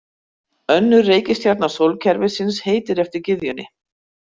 Önnur reikistjarna sólkerfisins heitir eftir gyðjunni.